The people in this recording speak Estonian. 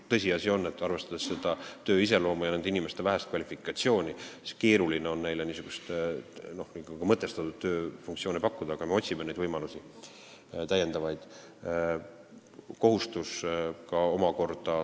Tõsiasi on, et arvestades vanglas töötamise iseloomu ja nende inimeste vähest kvalifikatsiooni, on keeruline neile mõtestatud tööfunktsioone pakkuda, aga me otsime täiendavaid võimalusi.